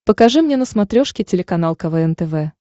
покажи мне на смотрешке телеканал квн тв